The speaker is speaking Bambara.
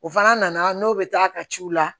O fana nana n'o bɛ taa ka ci u la